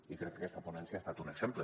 i crec que aquesta ponència n’ha estat un exemple